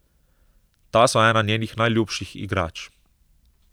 Ta so ena njenih najljubših igrač.